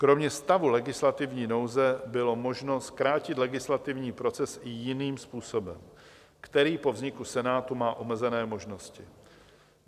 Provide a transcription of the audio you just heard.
Kromě stavu legislativní nouze bylo možno zkrátit legislativní proces i jiným způsobem, který po vzniku Senátu má omezené možnosti.